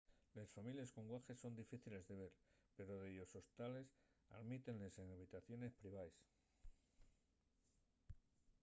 les families con guaḥes son difíciles de ver pero dellos hostales almítenles n’habitaciones privaes